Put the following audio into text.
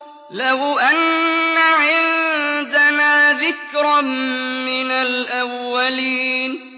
لَوْ أَنَّ عِندَنَا ذِكْرًا مِّنَ الْأَوَّلِينَ